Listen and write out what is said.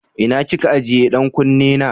Ina ki ke ajiye ɗan kunne na?